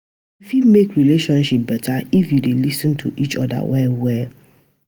Yu fit mek relationship beta if yu dey lis ten to each oda well well.